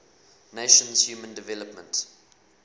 nations human development